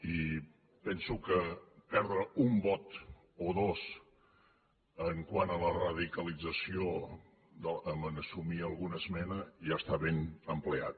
i penso que perdre un vot o dos quant a la radicalització en assumir alguna esmena ja està ben emprat